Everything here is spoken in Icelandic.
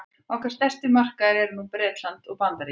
okkar stærstu markaðir nú eru bretland og bandaríkin